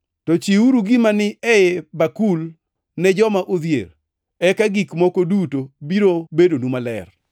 To chiwuru gima ni e bakul ne joma odhier, eka gik moko duto biro bedonu maler.